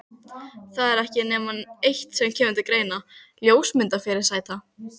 Það er ekki nema eitt sem kemur til greina: ljósmyndafyrirsæta.